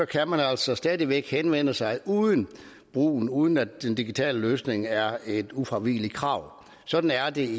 kan man altså stadig væk henvende sig uden uden at den digitale løsning er et ufravigeligt krav sådan er det